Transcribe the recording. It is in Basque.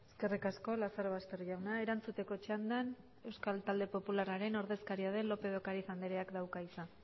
eskerrik asko lazarobaster jauna erantzuteko txandan euskal talde popularraren ordezkaria den lópez de ocariz andreak dauka hitza